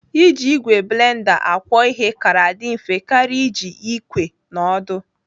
Iji ìgwè blenda akwọ ihe kara dị mfe karịa iji ikwe na ọdụ.